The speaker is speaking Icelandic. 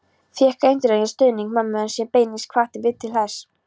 Fékk eindreginn stuðning mömmu sem beinlínis hvatti mig til þess.